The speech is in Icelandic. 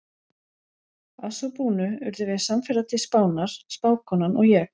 Að svo búnu urðum við samferða til Spánar, spákonan og ég.